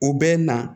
U bɛ na